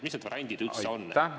Mis need variandid üldse on?